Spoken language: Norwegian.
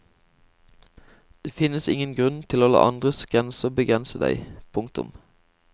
Det finnes ingen grunn til å la andres grenser begrense deg. punktum